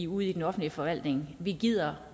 ude i den offentlige forvaltning vi gider